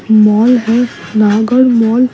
इ मॉल है नागल मॉल ।